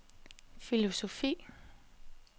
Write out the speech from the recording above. filosofi